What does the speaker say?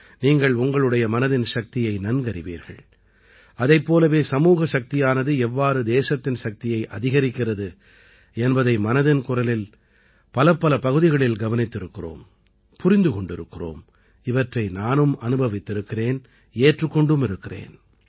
நீங்கள் உங்களுடைய மனதின் சக்தியை நன்கறிவீர்கள் அதைப் போலவே சமூக சக்தியானது எவ்வாறு தேசத்தின் சக்தியை அதிகரிக்கிறது என்பதை மனதின் குரலின் பலப்பல பகுதிகளில் கவனித்திருக்கிறோம் புரிந்து கொண்டிருக்கிறோம் இவற்றை நானும் அனுபவித்திருக்கிறேன் ஏற்றுக் கொண்டும் இருக்கிறேன்